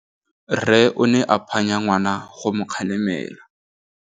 Rre o ne a phanya ngwana go mo galemela.